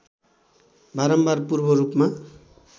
बारम्बार पूर्व रूपमा